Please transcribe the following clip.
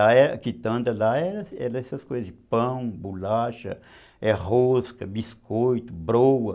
A quitanda lá era essas coisas, pão, bolacha, é, rosca, biscoito, broa.